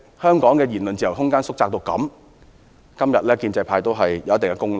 香港的言論自由縮窄至此，建制派有一定的功勞。